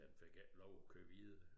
Den fik ikke lov at køre videre